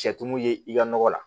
Cɛ tumu ye i ka nɔgɔ la